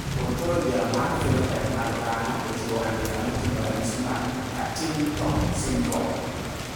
Ontologia mar phenotype mag dhano ochiwo andika moting`o ranyisi mag Partington syndrome.